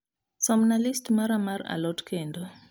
somna list mara mar a lot kendo